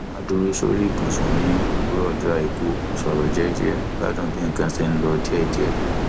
a ń dúró sórí ibùsùn ní òwúrọ ọjọ àìkú sọrọ jẹjẹ gbádùn bí nǹkan ṣe ń lọ díẹdíẹ